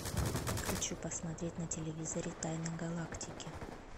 хочу посмотреть на телевизоре тайны галактики